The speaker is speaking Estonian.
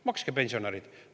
Makske, pensionärid!